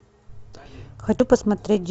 хочу посмотреть